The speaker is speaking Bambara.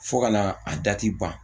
Fo ka na a dati ban